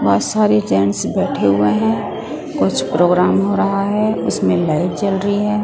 बहोत सारे जेंट्स बैठे हुए हैं कुछ प्रोग्राम हो रहा है उसमें लाइट जल रही है।